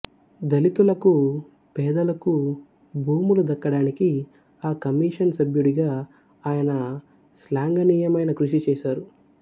దళితులకు పేదలకు భూములు దక్కడానికి ఆ కమిషన్ సభ్యుడిగా ఆయన శ్లాఘనీయమైన కృషి చేశారు